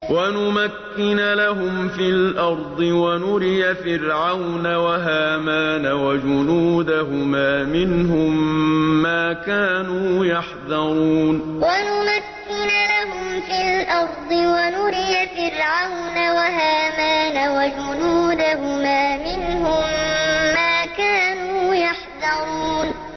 وَنُمَكِّنَ لَهُمْ فِي الْأَرْضِ وَنُرِيَ فِرْعَوْنَ وَهَامَانَ وَجُنُودَهُمَا مِنْهُم مَّا كَانُوا يَحْذَرُونَ وَنُمَكِّنَ لَهُمْ فِي الْأَرْضِ وَنُرِيَ فِرْعَوْنَ وَهَامَانَ وَجُنُودَهُمَا مِنْهُم مَّا كَانُوا يَحْذَرُونَ